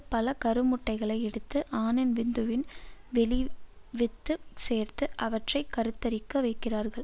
பல கருமுட்டைகளை எடுத்து ஆணின் விந்துவின் வெளி வித்து சேர்த்து அவற்றை கருத்தரிக்க வைக்கிறார்கள்